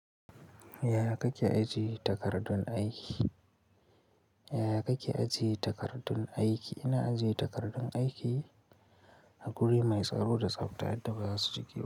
Yaya kake ajiye takardun aiki? Yaya kake ajiye takardun aiki? Ina ajiye takardun aiki a guri mai tsaro da tsafta yadda ba za su jiƙe ba.